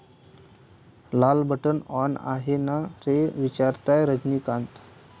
लाल button on आहे ना रे, विचारतायत रजनीकांत!